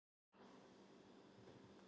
Har